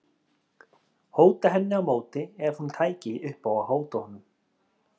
Hóta henni á móti ef hún tæki upp á að hóta honum.